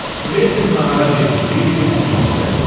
Kventin nahara gecikdiyi üçün üzr istədi.